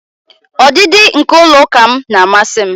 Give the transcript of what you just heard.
Ọdịdị nke ụlọ ụka m na-amasị m